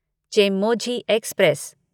Chemmozhi express